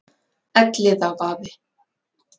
Elliðavaði